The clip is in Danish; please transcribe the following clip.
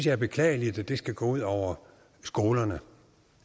er beklageligt at det skal gå ud over skolerne